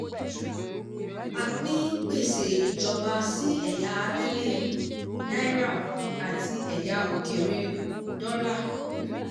a pín gbèsè ìjọba sí ẹ̀yà abẹ́lẹ̀ (naira) àti ẹ̀yà òkèèrè (dollar).